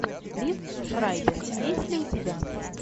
лив шрайбер есть ли у тебя